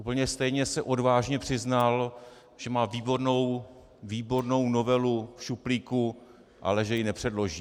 Úplně stejně se "odvážně" přiznal, že má výbornou novelu v šuplíku, ale že ji nepředloží.